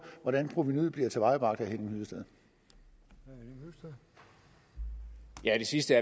hvordan provenuet bliver tilvejebragt vil jeg sige til